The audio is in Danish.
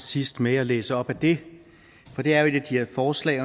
sidst med og læse op af det for det er jo et af de her forslag